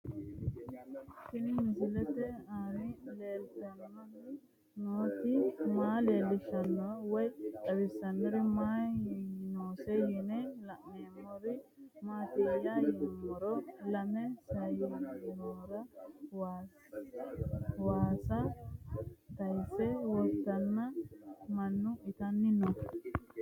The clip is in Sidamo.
Tenni misile aleenni leelittanni nootti maa leelishshanno woy xawisannori may noosse yinne la'neemmori maattiya yinummoro lame sayiinnera waassa tayiinse woreenna mannu ittanni noo